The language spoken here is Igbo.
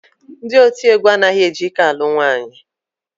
Ndị otiegwu anaghị eji ike alụ nwaanyị